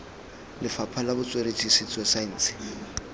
lefapha la botsweretshi setso saense